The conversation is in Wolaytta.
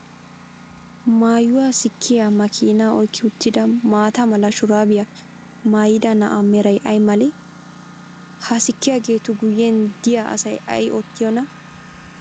Maayuwa sikkiyaa makiinaa oyikki uttida maata mala shuraabiya mayyida na'a meray ay malee? Ha sikkiyaageetu guyyen diya asay ay oottiyoonaa?